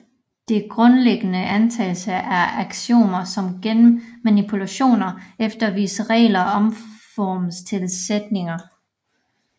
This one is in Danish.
De grundlæggende antagelser er aksiomer som gennem manipulationer efter visse regler omformes til sætninger